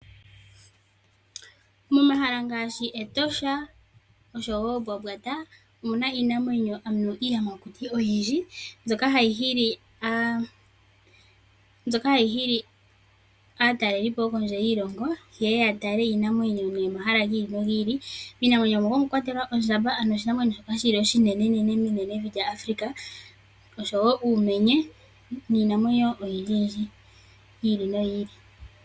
Momahala ngaashi Etosha National Park oshowoo Mbwambwata omuna iinamwenyo ano iiyamakuti oyindji mbyoka hayi hili aatalelipo yokondje yiilongo, yeye yatale iinamwenyo momahala giili nogiili. Iinamwenyo muka omwakwatelwa ondjamba . Ondjamba osho shimwe shomiinamwenyo mboka iinene mevi lyAfrika. Omuna woo uumenye nayilwe oyindjiyindji yiili noyili.